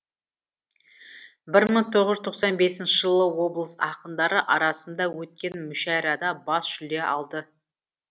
бір мың тоғыз жүз тоқсан бесінші жылы облыс ақындары арасында өткен мүшәйрада бас жүлде алды